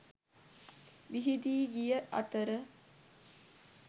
විහිදී ගිය අතර